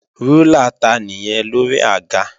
Rúlà ta nìyẹn lórí àga?